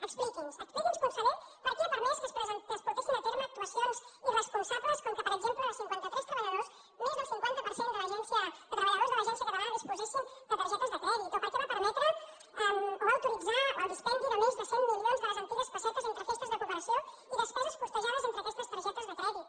expliqui’ns expliqui’ns conseller per què ha permès que es portessin a terme actuacions irresponsables com per exemple que de cinquanta tres treballadors més del cinquanta per cent de treballadors de l’agència catalana disposessin de targetes de crèdit o per què va permetre o va autoritzar el dispendi de més de cent milions de les antigues pessetes entre festes de cooperació i despeses costejades entre aquestes targetes de crèdit